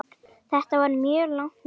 Þetta var mjög langt mót.